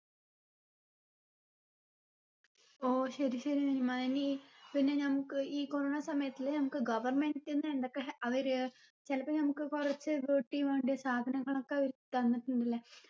ഓ ശരി ശരി നനിമ്മ ഇനി പിന്നെ നമ്മുക്ക് ഈ corona സമയത്തില് നമ്മുക്ക് government ന്റെ എന്തൊക്കെ അവര് ചെലപ്പം നമുക്ക് കുറച്ച് വീട്ടി വേണ്ടിയ സാധനങ്ങളൊക്കെ അവര് തന്നിട്ടുണ്ട്ലെ